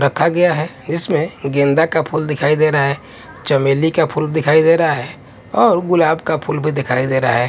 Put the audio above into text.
रखा गया है इसमें गेंदा का फूल दिखाई दे रहा है चमेली का फूल दिखाई दे रहा है और गुलाब का फूल भी दिखाई दे रहा है।